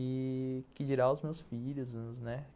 E que dirá aos meus filhos.